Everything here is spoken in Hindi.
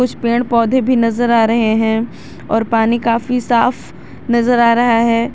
कुछ पेड़ पौधे भी नजर आ रहे हैं और पानी काफी साफ नजर आ रहा है।